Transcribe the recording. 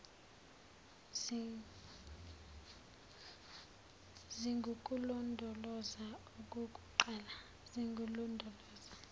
zingukulondoloza okukuqala zingululondoloza